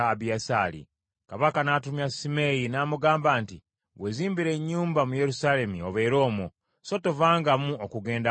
Kabaka n’atumya Simeeyi n’amugamba nti, “Weezimbire ennyumba mu Yerusaalemi obeere omwo, so tovangamu okugenda awantu wonna.